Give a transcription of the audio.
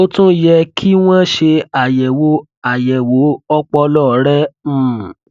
ó tún yẹ kí wọn ṣe àyẹwò àyẹwò ọpọlọ rẹ um